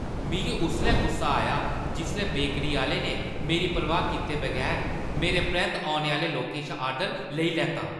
मिगी उसलै गुस्सा आया जिसलै बेकरी आह्‌ले ने मेरी परवाह् कीते बगैर मेरे परैंत्त औने आह्‌ले लोकें शा आर्डर लेई लैता ।